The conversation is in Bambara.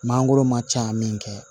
Mangoro ma ca min kɛ